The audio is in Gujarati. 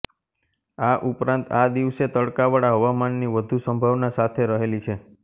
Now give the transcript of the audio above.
આ ઉપરાંત આ દિવસે તડકાવાળા હવામાનની વધુ સંભાવના સાથે રહેલી છે